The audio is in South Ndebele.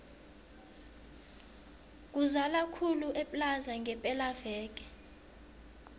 kuzala khulu eplaza ngepela veke